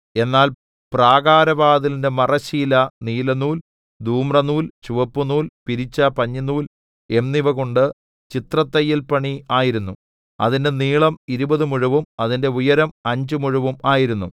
എന്നാൽ പ്രാകാരവാതിലിന്റെ മറശ്ശീല നീലനൂൽ ധൂമ്രനൂൽ ചുവപ്പുനൂൽ പിരിച്ച പഞ്ഞിനൂൽ എന്നിവകൊണ്ട് ചിത്രത്തയ്യൽപണി ആയിരുന്നു അതിന്റെ നീളം ഇരുപത് മുഴവും അതിന്റെ ഉയരം അഞ്ച് മുഴവും ആയിരുന്നു